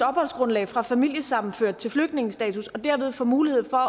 opholdsgrundlag fra familiesammenført til flygtningestatus og derved få mulighed for